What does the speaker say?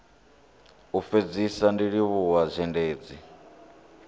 u fhedzisa ndi livhuwa zhendedzi